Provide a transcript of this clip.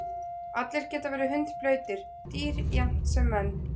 Allir geta verið hundblautir, dýr jafnt sem menn.